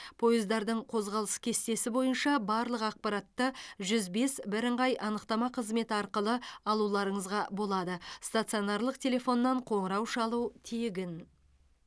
пойыздардың қозғалыс кестесі бойынша барлық ақпаратты жүз бес бірыңғай анықтама қызметі арқылы алуларыңызға болады стационарлық телефоннан қоңырау шалу тегін